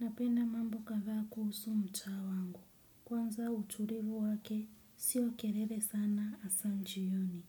Napenda mambo kadhaa kuhusu mtaa wangu. Kwanza utulivu wake si wa kelele sana hasa jioni.